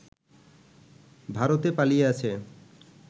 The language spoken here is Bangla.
ভারতে পালিয়ে আছে